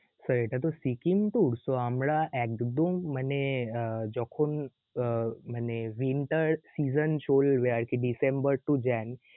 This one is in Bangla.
sir এটা তো সিকিম tour so আমরা একদম মানে আহ যখন উহ মানে winter season চলবে আর কি December to Jan~